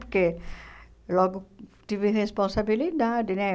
Porque logo tive responsabilidade, né?